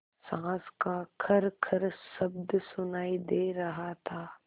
साँस का खरखर शब्द सुनाई दे रहा था